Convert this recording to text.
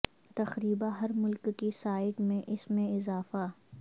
تقریبا ہر ملک کی سائٹ میں اس میں اضافہ